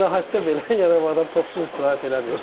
İstirahətdə belə, yəni bu adam topsuz istirahət eləmir.